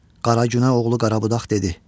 Qaragünə oğlu Qarabudaq dedi: